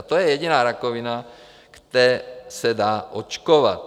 A to je jediná rakovina, kde se dá očkovat.